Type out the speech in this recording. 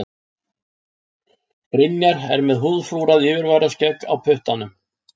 Brynjar er með húðflúrað yfirvaraskegg á puttanum.